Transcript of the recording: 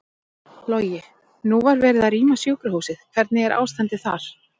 Logi: Nú var verið að rýma sjúkrahúsið, hvernig er ástandið þar?